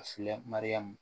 Filɛ mariyamu